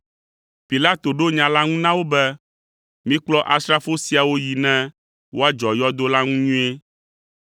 Pilato ɖo nya la ŋu na wo be, “Mikplɔ asrafo siawo yi ne woadzɔ yɔdo la ŋu nyuie.”